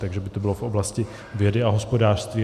Takže by to bylo v oblasti vědy a hospodářství.